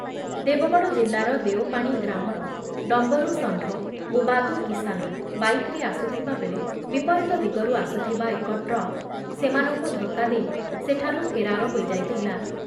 ଦେବଗଡ଼ ଜିଲ୍ଲାର ଦେଓପାଣି ଗ୍ରାମର ଡମ୍ବରୁ ଷଣ୍ଢ ଓ ବାଦୁ କିଷାନ ବାଇକ୍‌ରେ ଆସୁଥିବାବେଳେ ବିପରୀତ ଦିଗରୁ ଆସୁଥିବା ଏକ ଟ୍ରକ୍ ସେମାନଙ୍କୁ ଧକ୍କା ଦେଇ ସେଠାରୁ ଫେରାର ହୋଇଯାଇଥିଲା ।